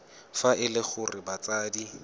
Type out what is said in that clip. fa e le gore batsadi